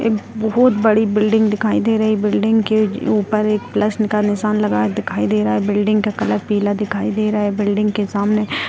एक बहुत बड़ी बिल्डिंग दिखाई दे रही बिल्डिंग के ऊपर एक प्लसन का निशान लगाया दिखाई दे रहा बिल्डिंग का कलर पीला दिखाई दे रहा है बिल्डिंग के सामने --